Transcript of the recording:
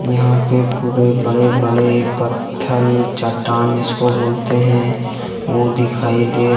यहां पर पूरे बड़े बड़े पत्थर चट्टान जिसको बोलते हैं वह दिखाई दे--